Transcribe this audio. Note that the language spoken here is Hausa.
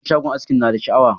Wutan shagon askin ya na da sha'awa.